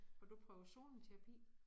Har du prøvet zoneterapi?